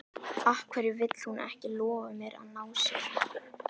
Af hverju vill hún ekki lofa mér að ná sér?